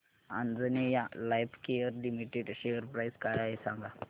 Anjaneya Lifecare limited share price काय आहे सांगा